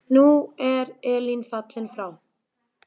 Nú er Elín fallin frá.